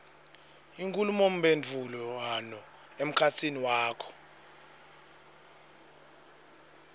inkhulumomphendvulwano emkhatsini wakho